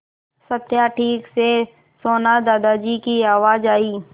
सत्या ठीक से सोना दादाजी की आवाज़ आई